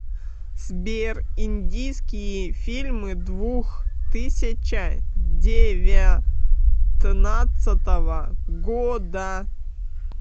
сбер индийские фильмы двух тысяча девятнадцатого года